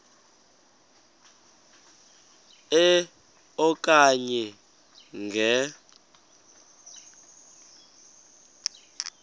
e okanye nge